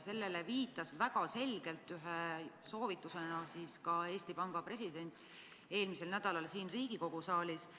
Sellele viitas väga selgelt ühe soovitusena ka Eesti Panga president eelmisel nädalal siin Riigikogu saalis.